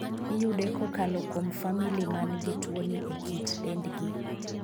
Iyude kokalo kuom famili man gi tuoni e kit dendgi.